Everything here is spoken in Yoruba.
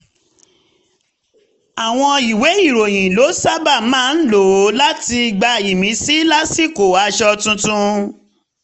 àwọn ìwé ìròyìn ló sábà máa ń lò láti gba ìmísí lásìkò àtúnṣe aṣọ tuntun